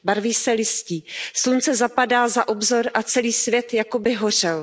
Barví se listí, slunce zapadá za obzor a celý svět jakoby hořel.